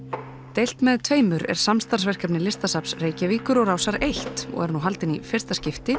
deilt með tveimur er samstarfsverkefni Listasafns Reykjavíkur og Rásar eins og er nú haldin í fyrsta skipti